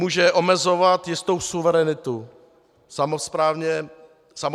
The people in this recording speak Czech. Může omezovat jistou suverenitu samosprávných celků.